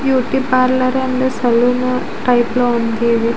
Beauty parlour and salon type లో ఉంది ఇది.